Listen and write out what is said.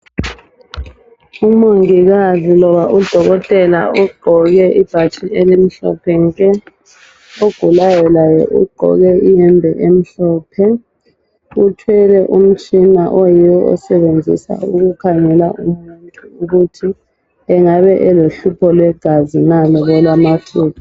Umongikazi loba udokotela ugqoke ibhatshi elimhlophe nke, ogulayo laye ugqoke iyembe omhlophe, uthwele umtshina osetshenziswa ukukhangela ukuthi umuntu engabe elohlupho lwegazi na loba olwamathumbu.